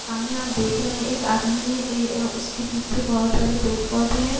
सामने आप देख रहे हैं एक आदमी है ए ओ उसके पीछे बोहोत सारे पेड़-पौधे हैं।